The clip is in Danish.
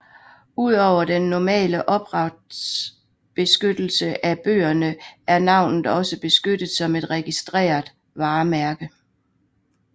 Ud over den normale ophavsretsbeskyttelse af bøgerne er navnet også beskyttet som et registreret varemærke